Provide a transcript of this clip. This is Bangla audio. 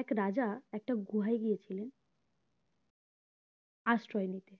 এক রাজা একটা গুহায় গিয়েছিলেন আশ্রয় নিতে